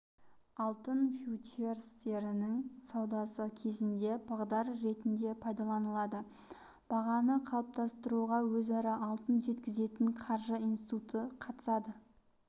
алтын фьючерстерінің саудасы кезінде бағдар ретінде пайдаланылады бағаны қалыптастыруға өзара алтын жеткізетін қаржы институты қатысады